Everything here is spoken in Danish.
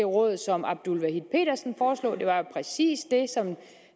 råd som abdul wahid petersen foreslog det var jo præcis det